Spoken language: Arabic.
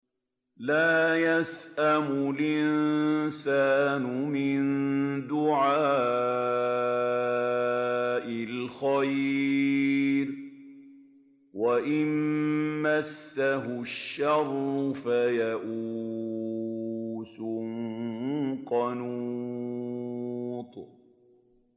لَّا يَسْأَمُ الْإِنسَانُ مِن دُعَاءِ الْخَيْرِ وَإِن مَّسَّهُ الشَّرُّ فَيَئُوسٌ قَنُوطٌ